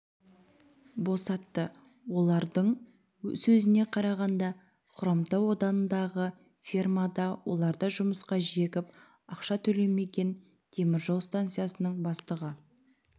босатты олардың сөзіне қарағанда хромтау ауданындағы фермада оларды жұмысқа жегіп ашқа төлемеген теміржол станциясының бастығы